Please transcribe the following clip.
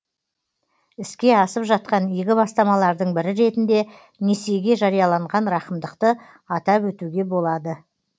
іске асып жатқан игі бастамалардың бірі ретінде несиеге жарияланған рақымдықты атап өтуге тұрады